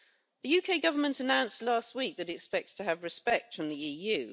The UK government announced last week that it expects to have respect in the EU.